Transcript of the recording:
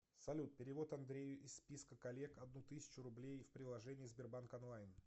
салют перевод андрею из списка коллег одну тысячу рублей в приложении сбербанк онлайн